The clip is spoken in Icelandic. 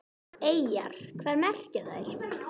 Eyjar, hvað merkja þær?